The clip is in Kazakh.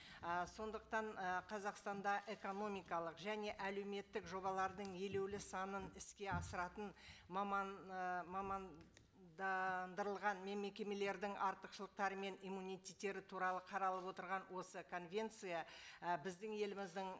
і сондықтан і қазақстанда экономикалық және әлеуметтік жобалардың елеулі санын іске асыратын маман ы мамандандырылған мекемелердің артықшылықтары мен иммунитеттері туралы қаралып отырған осы конвенция і біздің еліміздің